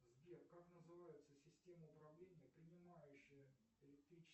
сбер как называется система управления принимающая электричество